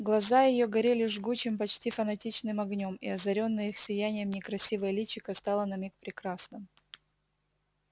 глаза её горели жгучим почти фанатичным огнём и озарённое их сиянием некрасивое личико стало на миг прекрасным